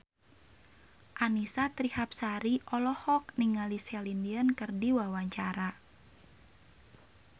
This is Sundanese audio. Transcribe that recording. Annisa Trihapsari olohok ningali Celine Dion keur diwawancara